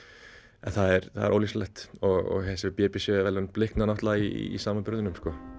en það er það er ólýsanlegt og þessi b b c verðlaun blikna náttúrulega í samanburðinum